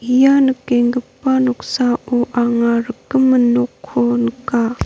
ia nikenggipa noksao anga rikgimin nokko nika.